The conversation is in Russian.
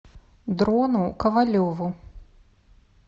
дрону ковалеву